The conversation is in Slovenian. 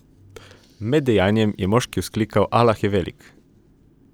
Med dejanjem je moški vzklikal Alah je velik.